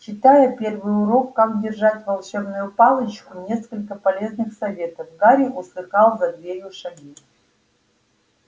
читая первый урок как держать волшебную палочку несколько полезных советов гарри услыхал за дверью шаги